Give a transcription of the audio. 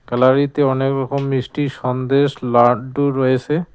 ক্যালারিতে অনেক রকম মিষ্টি সন্দেশ লাড্ডু রয়েসে।